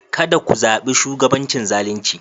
Ka da ku zabi shugabancin zalinci.